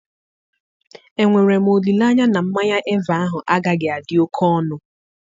Enwere m olileanya na mmanya Eva ahụ agaghị adị oke ọnụ?